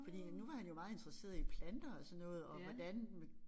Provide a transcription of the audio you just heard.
Fordi nu var han jo meget interesseret i planter og sådan noget og hvordan med